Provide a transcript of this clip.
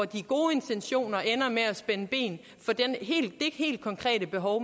de gode intentioner ender med at spænde ben for det helt konkrete behov